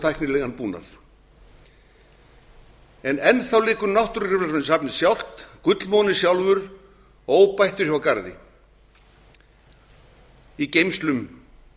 tæknilegan búnað en enn þá liggur náttúrugripasafnið sjálft gullmolinn sjálfur óbættur hjá garði í geymslum